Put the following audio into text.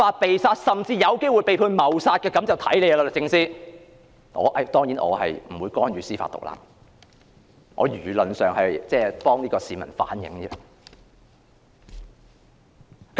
不過，結果如何還要看律政司，我當然不會干預司法獨立，只是替一名市民反映意見而已。